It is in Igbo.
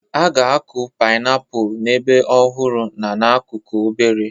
A ga-akụ painiapulu n'ebe ọhụrụ na n'akụkụ obere.